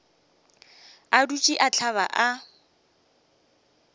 a dutše a hlaba a